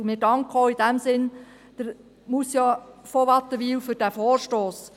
In diesem Sinn danken wir Grossrätin von Wattenwyl für diesen Vorstoss.